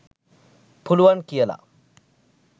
පුළුවන් කියලා.